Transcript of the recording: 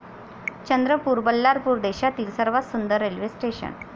चंद्रपूर, बल्लारपूर देशातली सर्वात सुंदर रेल्वे स्टेशनं!